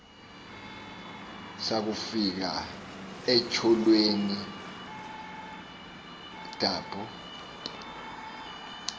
sakufika etyholweni thaphu